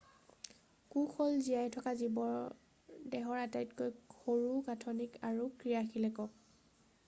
কোষ হ'ল জীয়াই থকা জীৱৰ দেহৰ আটাইতকৈ সৰু গাঁঠনিক আৰু ক্ৰিয়াশীল একক